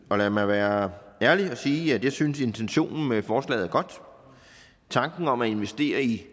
og lad mig være ærlig og sige at jeg synes at intentionen med forslaget er godt tanken om at investere i